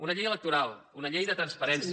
una llei electoral una llei de transparència